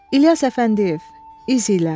İlyas Əfəndiyev, iz ilə.